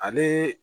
Ale